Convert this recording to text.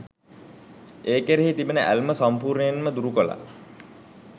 ඒ කෙරෙහි තිබෙන ඇල්ම සම්පූර්ණයෙන්ම දුරුකළා.